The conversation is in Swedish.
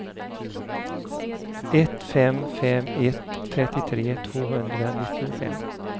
ett fem fem ett trettiotre tvåhundranittiofem